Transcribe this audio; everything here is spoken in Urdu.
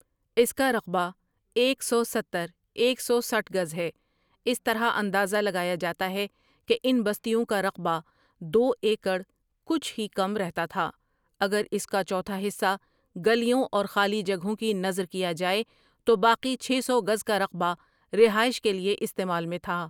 اس کا رقبہ ایک سو ستہر ایک سو سٹھ گز ہے اس طرح اندازہ لگایا جاتا ہے کہ ان بستیوں کا رقبہ دو ایکڑ کچھ ہی کم رہتا تھا اگر اس کا چوتھا حصہ گلیوں اور خالی جگہوں کی نذر کیا جائے تو باقی چھ سو گز کا رقبہ رہائش کے لیے استعمال میں تھا ۔